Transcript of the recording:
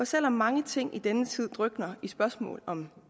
selv om mange ting i denne tid drukner i spørgsmål om